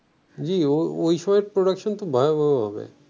জি production খুব ভয়াবহ হবে